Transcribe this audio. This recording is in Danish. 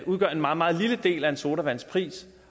udgør en meget meget lille del af en sodavands pris